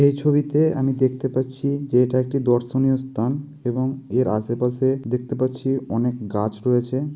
এই ছবিতে আমি দেখতে পাচ্ছি যে এটা একটি দর্শনীয় স্থান এবং এর আসে পাশে দেখতে পাচ্ছি অনেক গাছ রয়েছে।